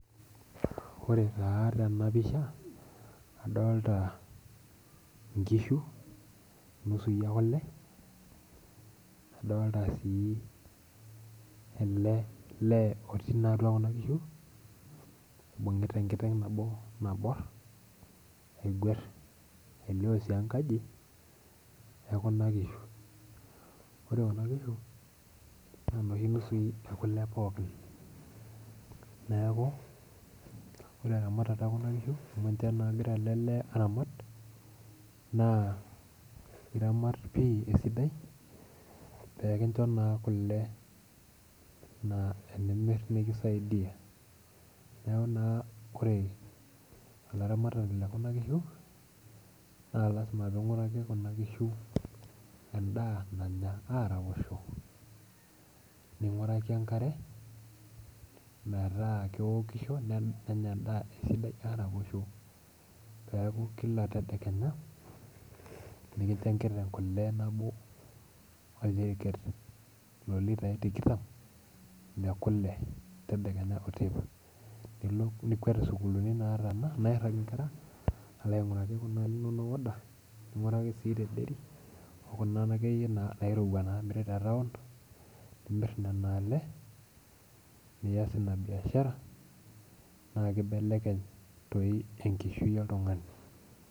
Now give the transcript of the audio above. Ore taa tena pisha adolita nkishu nusui ekule ,adolita sii ele lee otii atua Kuna kishu oibungita enkeng nabo nabor aigwar .elio sii enkaji ekuna kishu ,ore sii Kuna kishu naa nekule pookin. neeku ore ermatata ekuna kishu amu ninche naa egira ele lee eratamat, naa iramat naa pi peekincho kule nimir nikisaidia ,neeku naa ore olaramatani lekuna kishu naa lasima naa pee inguraki endaa nanya araposho ninguraki enkare metaa kenya enda araposho, peeku Kila tedekenya nikincho enkiteng nabo oljeriket loolitai tikitam lekule tedekenya oteipa. nikwet sukuulini nairag nkera alo ainguraki kule inonok oda ,ninguraki sii tedairy ninguraki Kuna nairowua namiri tetaon nimir nena le nias ina biashara naa kibelekeny doi enkishui oltungani.